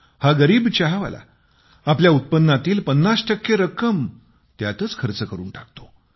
हा गरीब चहावाला आपल्या उत्पन्नातील 50 टक्के रक्कम त्यातच खर्च करून टाकतो